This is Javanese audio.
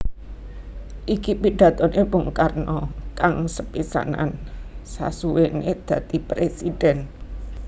Iki pidatoné Bung Karno kang sepisanan sasuwéné dadi Présidèn